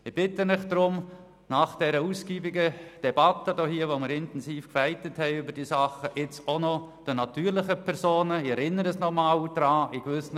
Ich bitte Sie deshalb, nach dieser ausgiebigen Debatte, während der wir intensiv gekämpft haben, jetzt auch noch gegenüber den natürlichen Personen ein Zeichen zu setzen, wenn auch nur ein kleines.